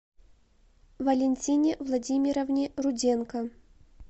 валентине владимировне руденко